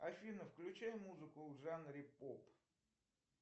афина включай музыку в жанре поп